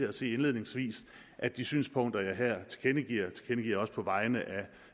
at sige indledningsvis at de synspunkter jeg her tilkendegiver tilkendegiver jeg også på vegne af